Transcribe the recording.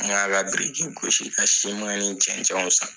N ka la biriki gosi ka ni cɛncɛnw san.